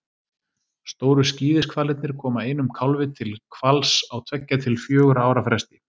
Stóru skíðishvalirnir koma einum kálfi til hvals á tveggja til fjögurra ára fresti.